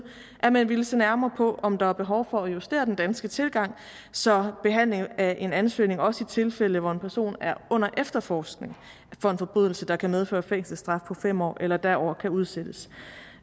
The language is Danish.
at man ville se nærmere på om der er behov for at justere den danske tilgang så behandlingen af en ansøgning også i tilfælde hvor en person er under efterforskning for en forbrydelse der kan medføre fængselsstraf på fem år eller derover kan udsættes